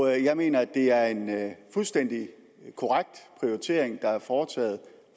jeg mener at det er en fuldstændig korrekt prioritering der er foretaget